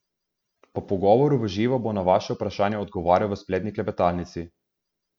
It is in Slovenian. Po pogovoru v živo bo na vaša vprašanja odgovarjal v spletni klepetalnici.